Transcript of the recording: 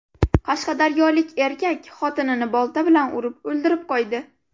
Qashqadaryolik erkak xotinini bolta bilan urib o‘ldirib qo‘ydi.